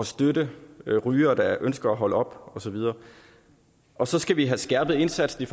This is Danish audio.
støtte rygere der ønsker at holde op og så videre og så skal vi have skærpet indsatsen